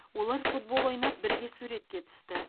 олар футбол ойнап бірге суретке түсті